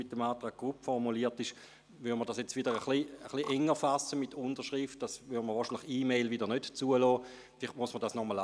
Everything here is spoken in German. Mit der Formulierung des Antrags Grupp würde dies – mit der Unterschrift – enger gefasst, sodass man E-Mails wiederum nicht zulassen würde.